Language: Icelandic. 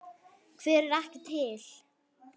Hver er ekki til?